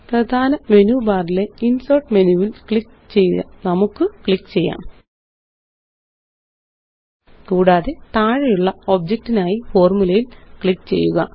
പ്രധാന മെനു ബാറിലെ ഇന്സേര്ട്ട് മെനുവില് നമുക്ക് ക്ലിക്ക് ചെയ്യാം കൂടാതെ താഴെയുള്ള ഒബ്ജക്റ്റിനായി ഫോര്മുലയില് ക്ലിക്ക് ചെയ്യുക